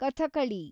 Kathakali